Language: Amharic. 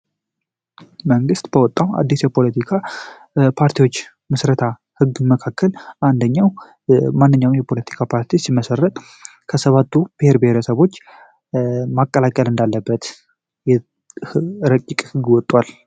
መንግት በወጣው አዲስ የፖለቲካ ፓርቲዎች መሰረታዊ ህግ መካከል አንደኛው የማንኛውም የፖለቲካ ፓርቲ ሲመሠረት ከሰባቱ ብሄር ብሄረሰቦች መከላከል እንዳለበት ረቂቅ ህግ ወቷል